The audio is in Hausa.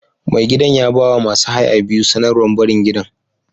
Mai gidan ya ba wa masu haya biyu sanarwar barin gidan.